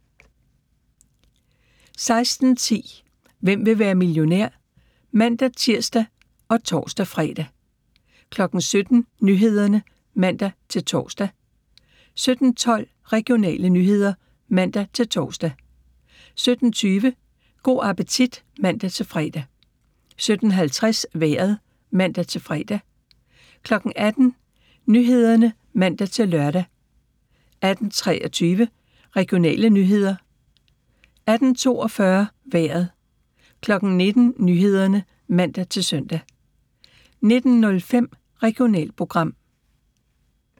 16:10: Hvem vil være millionær? (man-tir og tor-fre) 17:00: Nyhederne (man-tor) 17:12: Regionale nyheder (man-tor) 17:20: Go' appetit (man-fre) 17:50: Vejret (man-fre) 18:00: Nyhederne (man-lør) 18:23: Regionale nyheder 18:42: Vejret 19:00: Nyhederne (man-søn) 19:05: Regionalprogram